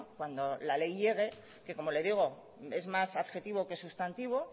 cuando al ley llegue que como le digo es más adjetivo que sustantivo